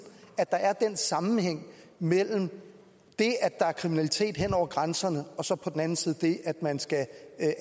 at der er den sammenhæng mellem det at der er kriminalitet hen over grænserne og så på den anden side det at man skal